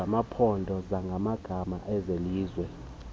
zamaphondo zamagama ezelizwe